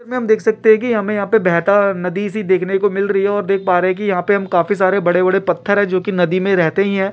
चित्र में हम देख सकते हैं की हमे यहाँ पे बहता हुआ नदी सी देखने को मिल रही है और देख पा रहे हैं कि यहाँ पे हम काफी सारे बड़े बड़े पत्थर है जोकि नदी में रहते ही हैं।